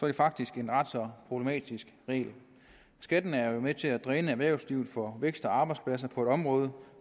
det faktisk en ret så problematisk regel skatten er med til at dræne erhvervslivet for vækst og arbejdspladser på et område